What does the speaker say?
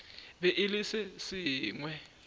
be e le se sengwe